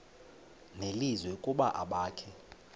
nelizwi ukuba abakhe